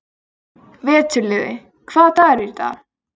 Slík hegðun er einkennandi fyrir vökva.